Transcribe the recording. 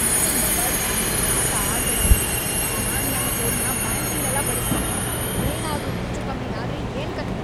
ನನ್ mobile phone ಜೊತೆ ಆಟ ಆಡ್ಬೇಡ ನೀನು. ನಾನ್‌ ನನ್ ಫೋನ್‌ನ ಬ್ಯಾಂಕಿಂಗ್‌ಗೆಲ್ಲ ಬಳಸ್ತೀನಿ. ಏನಾದ್ರೂ ಹೆಚ್ಚೂಕಮ್ಮಿ ಆದ್ರೆ ಏನ್ಕಥೆ!